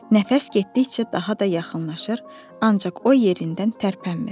Nəfəs getdikcə daha da yaxınlaşır, ancaq o yerindən tərpənmir.